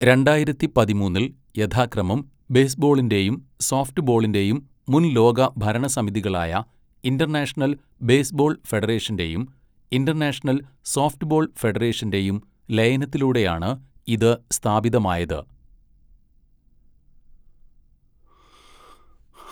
രണ്ടായിരത്തി പതിമൂന്നിൽ യഥാക്രമം ബേസ്ബോളിന്റെയും സോഫ്റ്റ് ബോളിന്റെയും മുൻ ലോക ഭരണ സമിതികളായ ഇന്റർനാഷണൽ ബേസ്ബോൾ ഫെഡറേഷന്റെയും ഇന്റർനാഷണൽ സോഫ്റ്റ്ബോൾ ഫെഡറേഷന്റെയും ലയനത്തിലൂടെയാണ് ഇത് സ്ഥാപിതമായത്.